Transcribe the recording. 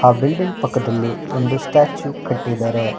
Building ಪಕ್ಕದಲ್ಲಿ ಒಂದು statue ಕಟ್ಟಿದ್ದಾರೆ.